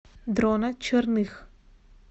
дрона черных